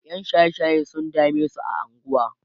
ƴan shaye shaye sun damesu a unguwa